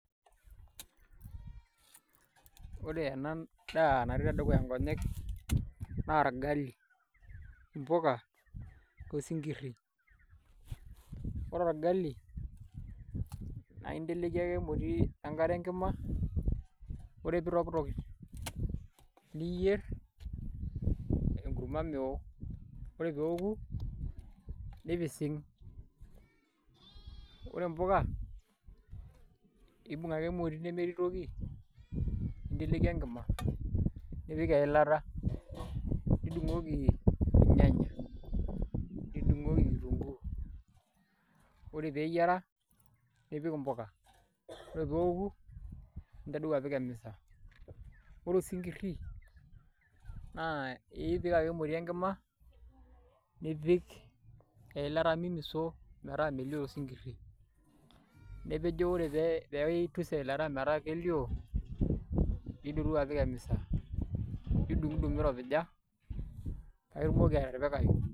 Ore ena daa natii tedukuya nkonyek naa orgali, mpuka osinkirri ore orgali naa inteleiki ake enkare emoti enkima ore pee itokitok niyierr enkurma meeoo ore pee eeoku nipising' ore impuka imbung' ake emoti nemetii toki ninteleiki enkima nipik enkima nidung'oki ilnyanya nidung'oki kitunguu ore pee eyiara nipik mpuka ore pee eoku nintadou apik emisa ore osinkirri naa epik ake emoti enkima nipik eilata mimiso metaa melioo osinkirri nipik duo ore piitus eilata metaa kelio nidotu apiik emisa nidung'udung' miropija paa itumoki atipikayu.